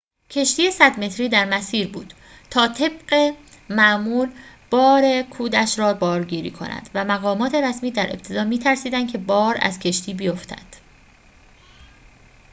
کشتی ۱۰۰ متری در مسیر بود تا طبق معمول بار کودش را بارگیری کند و مقامات رسمی در ابتدا می‌ترسیدند که بار از کشتی بیفتد